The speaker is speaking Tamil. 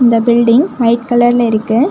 இந்த பில்டிங் ஒயிட் கலர்ல இருக்கு.